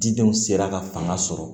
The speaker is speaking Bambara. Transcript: Didenw sera ka fanga sɔrɔ